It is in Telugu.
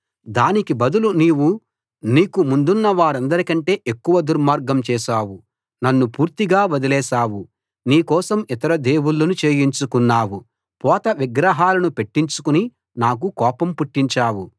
దానికి బదులు నీవు నీకు ముందున్న వారందరికంటే ఎక్కువ దుర్మార్గం చేశావు నన్ను పూర్తిగా వదిలేశావు నీ కోసం ఇతర దేవుళ్ళను చేయించుకున్నావు పోత విగ్రహాలను పెట్టించుకుని నాకు కోపం పుట్టించావు